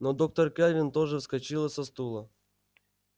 но доктор кэлвин тоже вскочила со стула